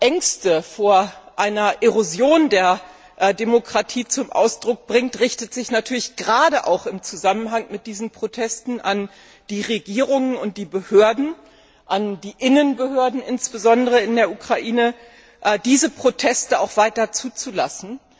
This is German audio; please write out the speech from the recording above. Ängste vor einer Erosion einer Demokratie zum Ausdruck bringt, richtet sich natürlich gerade auch im Zusammenhang mit diesen Protesten an die Regierung und die Behörden, insbesondere an die Innenbehörden in der Ukraine, damit sie diese Proteste weiter zulassen.